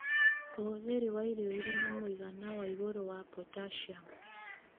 ũhũthĩri wa irio irĩ na mũigana wa igũrũ wa potassium